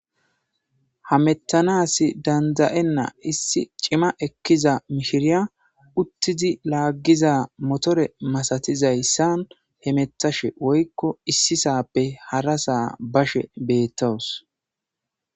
Hametanas dada'ena issi cima ekiza mishireya utidi lagiza motore masatizaysan hemetashe woyko issape harasa bashe betawus